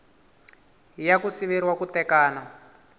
ya ku siveriwa ku tekana